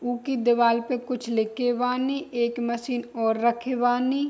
उ के दीवाल पे कुछ लेके बानी मशीन रखे बनी।